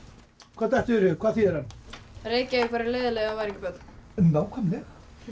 hvað dettur hug hvað þýðir hann Reykjavík væri leiðinleg ef það væru ekki börn nákvæmlega